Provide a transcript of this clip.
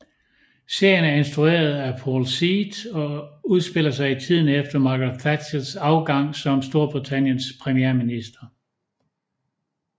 Serien er instrueret af Paul Seed og udspiller sig i tiden efter Margaret Thatchers afgang som Storbritanniens premierminister